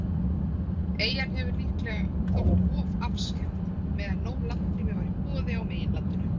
Eyjan hefur líklega þótt of afskekkt, meðan nóg landrými var í boði á meginlandinu.